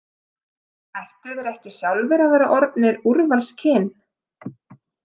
Ættu þeir ekki sjálfir að vera orðnir úrvalskyn?